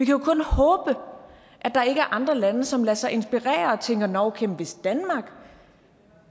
jo kun håbe at der ikke er andre lande som lader sig inspirere og tænker nå okay hvis danmark